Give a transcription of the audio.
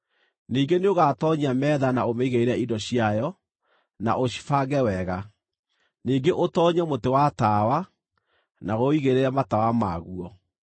Ningĩ nĩũgatoonyia metha na ũmĩigĩrĩre indo ciayo, na ũcibange wega. Ningĩ ũtoonyie mũtĩ wa tawa, na ũũigĩrĩre matawa maguo.